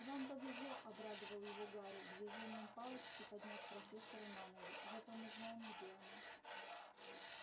вам повезло обрадовал его гарри движением палочки подняв профессора на ноги зато мы знаем где она